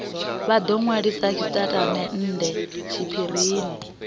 vha do nwalisa tshitatamennde tshiphirini